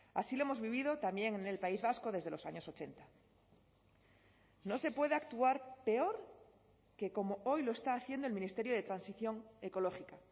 así lo hemos vivido también en el país vasco desde los años ochenta no se puede actuar peor que como hoy lo está haciendo el ministerio de transición ecológica